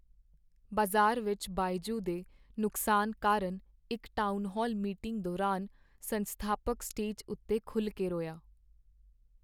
ਬਾਜ਼ਾਰ ਵਿੱਚ ਬਾਇਜੂ ਦੇ ਨੁਕਸਾਨ ਕਾਰਨ ਇੱਕ ਟਾਊਨਹਾਲ ਮੀਟਿੰਗ ਦੌਰਾਨ ਸੰਸਥਾਪਕ ਸਟੇਜ ਉੱਤੇ ਖੁੱਲ੍ਹ ਕੇ ਰੋਇਆ।